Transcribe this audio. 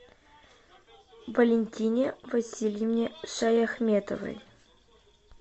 валентине васильевне шаяхметовой